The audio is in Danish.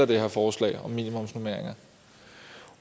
det her forslag om minimumsnormeringer